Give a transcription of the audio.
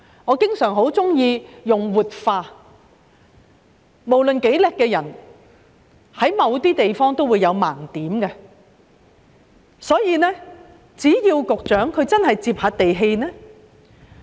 我經常喜歡說官員應"活化腦袋"，無論多厲害的人在某些地方也會有盲點，所以希望局長真的要"接地氣"。